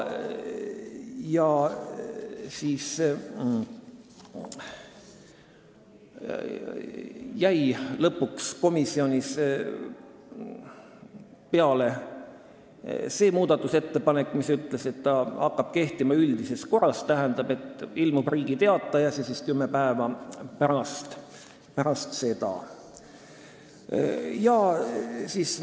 Lõpuks jäi komisjonis peale muudatusettepanek, mille järgi hakkab seadus kehtima üldises korras, st et ilmub Riigi Teatajas ja kümme päeva pärast seda hakkab kehtima.